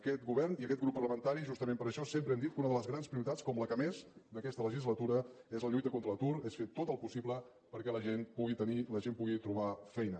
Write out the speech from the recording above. aquest govern i aquest grup parlamentari justament per això sempre hem dit que una de les grans prioritats com la que més d’aquesta legislatura és la lluita contra l’atur és fer tot el possible perquè la gent pugui tenir la gent pugui trobar feina